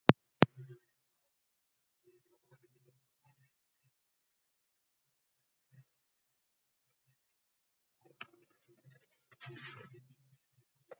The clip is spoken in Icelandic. Skreytið með ferskum berjum.